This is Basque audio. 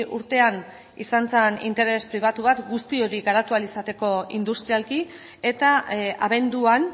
urtean izan zen interes pribatuak guzti hori garatu ahal izateko industrialki eta abenduan